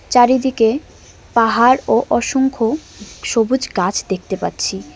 চারিদিকে পাহাড় ও অসংখ্য সবুজ গাছ দেখতে পাচ্ছি।